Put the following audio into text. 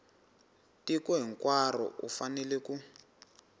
tiko hinkwaro u fanele ku